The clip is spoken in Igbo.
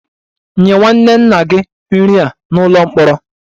Nye nwanne nna gị nri a n'ụlọ mkpọrọ!